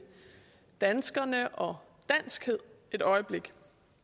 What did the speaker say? danskerne og danskhed et øjeblik